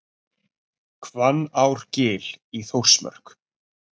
Hvannárgil í Þórsmörk.